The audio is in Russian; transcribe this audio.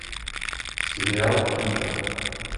сериал виктор